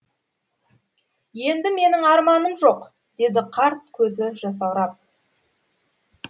енді менің арманым жоқ деді қарт көзі жасаурап